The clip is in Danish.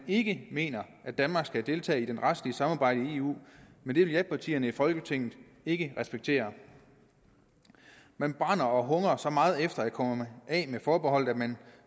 ikke mener at danmark skal deltage i det retslige samarbejde i eu men det vil japartierne i folketinget ikke respektere man brænder og hungrer så meget efter at komme af med forbeholdet at man